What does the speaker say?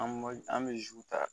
An b'a an bɛ zi ta